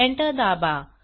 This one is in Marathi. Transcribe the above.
एंटर दाबा